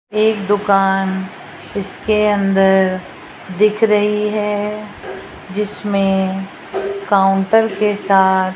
एक दुकान इसके अंदर दिख रही है जिसमें काउंटर के साथ --